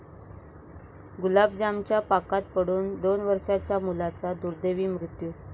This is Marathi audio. गुलाबजामच्या पाकात पडून दोन वर्षांच्या मुलाचा दुर्दैवी मृत्यू